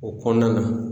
O kɔnɔna na